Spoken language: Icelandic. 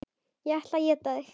Ég ætla að éta þig.